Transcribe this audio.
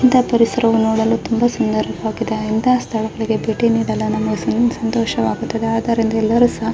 ಇಂತ ಪರಿಸರ ನೋಡಲು ತುಂಬಾ ಸುಂದರವಾಗಿದೆ ಇಂತ ಸ್ತಳಗಳ್ಲಲಿ ಭೇಟಿ ನೀಡಲು ನಮಗೆ ಇನ್ನು ಸಂತೋಷ ವಾಗುತ್ತದೆ ಆದ್ದರಿಂದ ಎಲ್ಲೊರು ಸಹ್ --